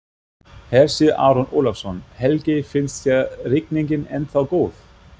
Hersir Aron Ólafsson: Helgi, finnst þér rigningin ennþá góð?